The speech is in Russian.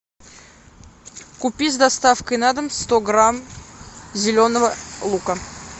купи с доставкой на дом сто грамм зеленого лука